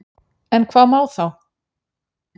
En hvað má þá?